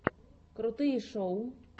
крутые шоу